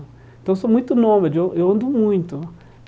Então, eu sou muito nômade, eu eu ando muito.